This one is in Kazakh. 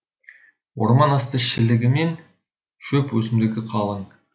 орман асты шілігі мен шөп өсімдігі қалың